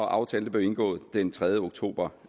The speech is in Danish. aftalen blev indgået den tredje oktober